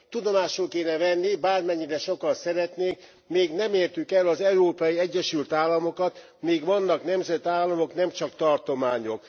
Tudomásul kéne venni, hogy bármennyire sokan szeretnék még nem értük el az Európai Egyesült Államokat, még vannak nemzetállamok, nem csak tartományok.